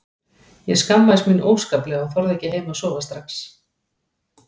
Ég skammaðist mín óskaplega og þorði ekki heim að sofa strax.